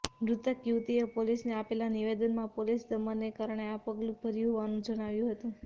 મૃતક યુવતીએ પોલીસને આપેલા નિવેદનમાં પોલીસ દમનને કારણે આ પગલું ભર્યું હોવાનું જણાવ્યું હતું